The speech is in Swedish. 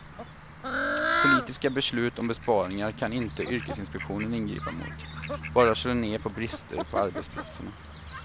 Politiska beslut om besparingar kan inte yrkesinspektionen ingripa emot, bara slå ned på brister på arbetsplatserna.